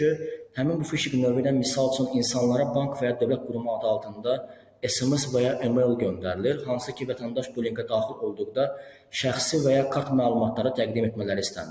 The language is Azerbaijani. həmin bu fişinq növü ilə misal üçün insanlara bank və ya dövlət qurumu adı altında SMS və ya email göndərilir, hansı ki, vətəndaş bu linkə daxil olduqda şəxsi və ya kart məlumatları təqdim etmələri istənilir.